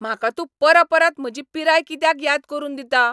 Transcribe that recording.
म्हाका तूं परपरत म्हजी पिराय कित्याक याद करून दिता?